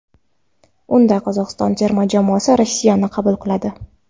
Unda Qozog‘iston terma jamoasi Rossiyani qabul qiladi.